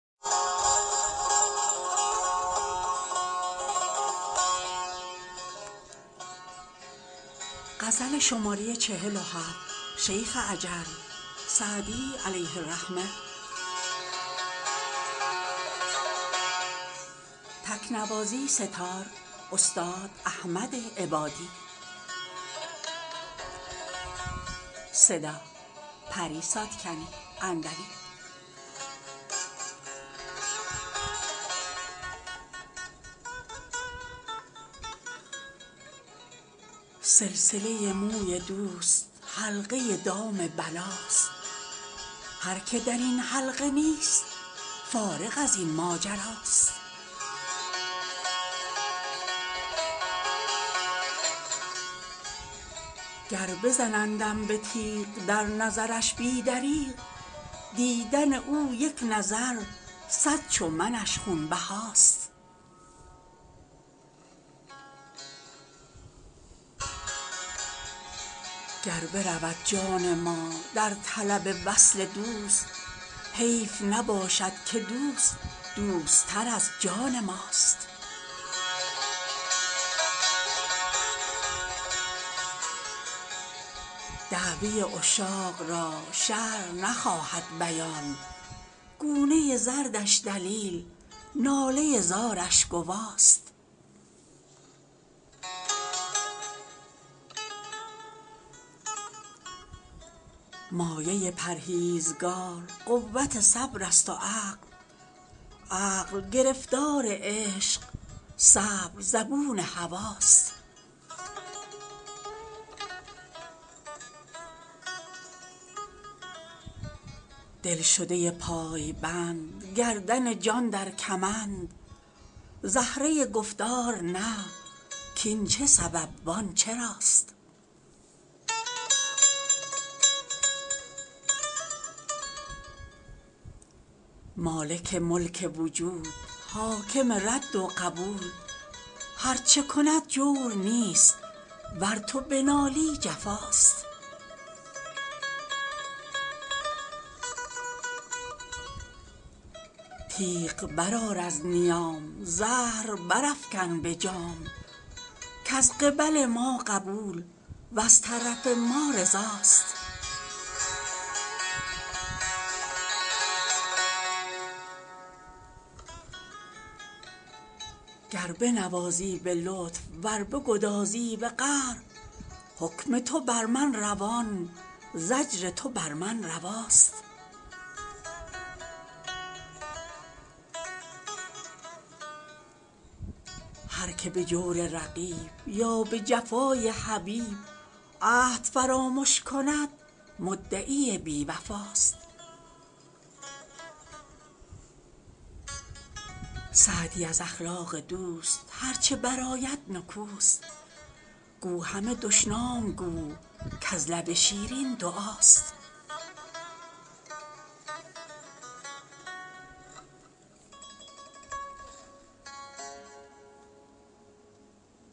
سلسله موی دوست حلقه دام بلاست هر که در این حلقه نیست فارغ از این ماجراست گر بزنندم به تیغ در نظرش بی دریغ دیدن او یک نظر صد چو منش خونبهاست گر برود جان ما در طلب وصل دوست حیف نباشد که دوست دوست تر از جان ماست دعوی عشاق را شرع نخواهد بیان گونه زردش دلیل ناله زارش گواست مایه پرهیزگار قوت صبر است و عقل عقل گرفتار عشق صبر زبون هواست دلشده پایبند گردن جان در کمند زهره گفتار نه کاین چه سبب وان چراست مالک ملک وجود حاکم رد و قبول هر چه کند جور نیست ور تو بنالی جفاست تیغ برآر از نیام زهر برافکن به جام کز قبل ما قبول وز طرف ما رضاست گر بنوازی به لطف ور بگدازی به قهر حکم تو بر من روان زجر تو بر من رواست هر که به جور رقیب یا به جفای حبیب عهد فرامش کند مدعی بی وفاست سعدی از اخلاق دوست هر چه برآید نکوست گو همه دشنام گو کز لب شیرین دعاست